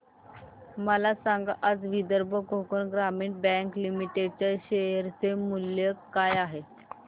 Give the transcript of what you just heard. मला सांगा आज विदर्भ कोकण ग्रामीण बँक लिमिटेड च्या शेअर चे मूल्य काय आहे